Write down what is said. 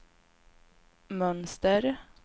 mönster